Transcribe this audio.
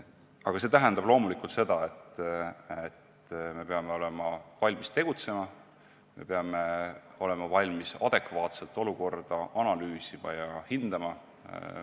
Aga see tähendab loomulikult seda, et me peame olema valmis tegutsema, me peame olema valmis adekvaatselt olukorda analüüsima ja hindama.